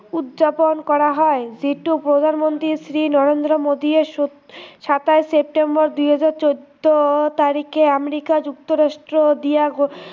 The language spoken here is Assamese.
উদযাপন কৰা হয় যিটো প্ৰধান মন্ত্ৰী শ্ৰী নৰেন্দ্ৰ মোডীয়ে সোত সাতাইছ ছেপ্তেম্বৰ দুই হাজাৰ চৈধ্য় তাৰিখে আমেৰিকা যুক্তৰাষ্ট্ৰ দিয়া গল